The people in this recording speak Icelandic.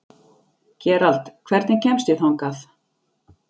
Gerald, hvernig kemst ég þangað?